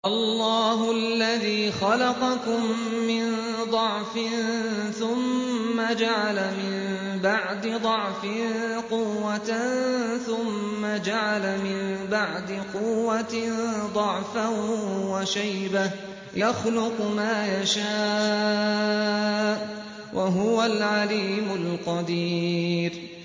۞ اللَّهُ الَّذِي خَلَقَكُم مِّن ضَعْفٍ ثُمَّ جَعَلَ مِن بَعْدِ ضَعْفٍ قُوَّةً ثُمَّ جَعَلَ مِن بَعْدِ قُوَّةٍ ضَعْفًا وَشَيْبَةً ۚ يَخْلُقُ مَا يَشَاءُ ۖ وَهُوَ الْعَلِيمُ الْقَدِيرُ